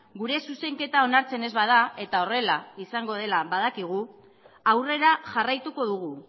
gure zuzenketa onartzen ez bada eta horrela izango dela badakigu aurrera jarraituko dugu